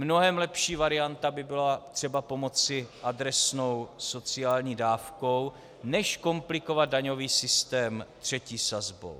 Mnohem lepší varianta by byla třeba pomoci adresnou sociální dávkou než komplikovat daňový systém třetí sazbou.